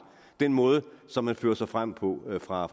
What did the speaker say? den måde som man fører sig frem på fra